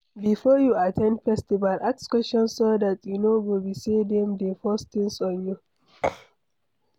Before you at ten d festival, ask questions so dat e no go be sey dem dey force things on you